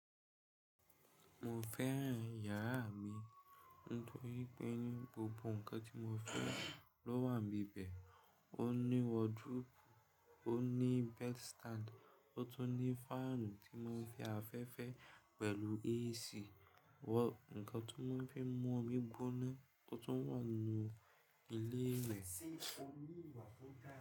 Mo fẹ́ràn yàrá mi nítorí pé ní gbogbo ǹkan tí mo fẹ́ lọ wà níbẹ̀be. Ó ní wọdúróòbù, ó ní bed stand, ó tún ní fáànù tí mò ń fi afẹ́fẹ́ pẹ̀lú AC, ǹkan tó máa ń fi mú omi gbóná tó tún wà ní ilé rẹ.